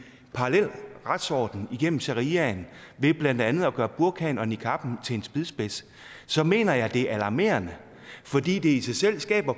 parallel retsorden igennem shariaen ved blandt andet at gøre burkaen og niqabben til en spydspids så mener jeg at det er alarmerende fordi det i sig selv skaber